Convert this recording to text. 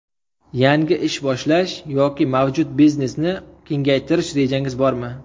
Yangi ish boshlash yoki mavjud biznesni kengaytirish rejangiz bormi?